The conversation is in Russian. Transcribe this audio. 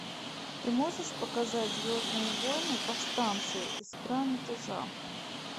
ты можешь показать звездные войны повстанцы искра мятежа